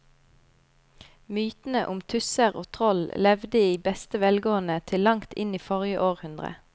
Mytene om tusser og troll levde i beste velgående til langt inn i forrige århundre.